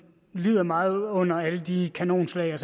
lider meget under alle de kanonslag